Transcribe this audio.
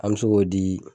An bɛ se k'o di